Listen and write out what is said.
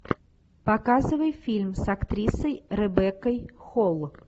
показывай фильм с актрисой ребеккой холл